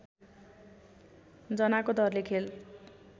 जनाको दरले खेल